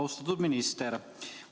Austatud minister!